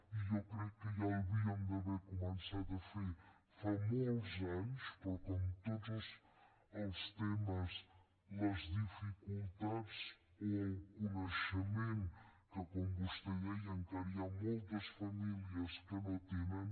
i jo crec que ja ho hauríem d’haver començat a fer fa molts anys però com en tots els temes les dificultats o el coneixement que com vostè deia encara hi ha moltes famílies que no tenen